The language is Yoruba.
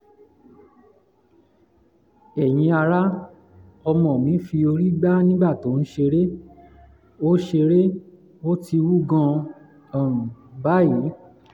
ẹ̀yin ará ọmọ mi fi orí gbá nígbà tó ń ṣeré; ó ṣeré; ó ti wú gan-an um báyìí